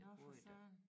Nå for søren